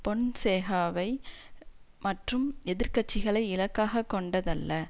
பொன்சேகாவை மற்றும் எதிர் கட்சிகளை இலக்காக கொண்டதல்ல